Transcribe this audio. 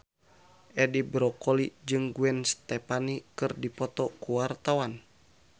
Edi Brokoli jeung Gwen Stefani keur dipoto ku wartawan